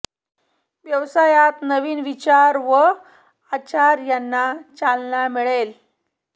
व्यवसायात नवीन विचार व आचार यांना चालना मिळेल